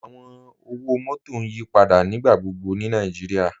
Awọn ọwọ-mọtọ n yípadà nígbàgbọ̀gbọ̀ ni Nàìjíríà.